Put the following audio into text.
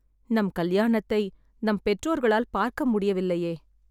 நம் கல்யாணத்தை, நம் பெற்றோர்களால் பார்க்க முடியவில்லையே